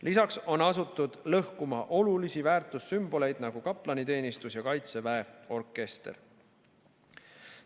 Lisaks on asutud lõhkuma olulisi väärtussümboleid nagu kaplaniteenistus ja Kaitseväe orkester.